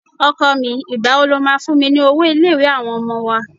Ọkọ mi, ìgbà wo lo máa fún mi ní owó ilé-ìwé àwọn ọmọ wa?